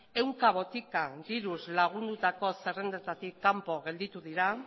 ehunka botika diruz lagundutako zerrendetatik kanpo gelditu dira